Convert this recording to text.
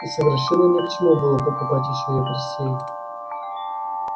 и совершенно ни к чему было покупать ещё и посей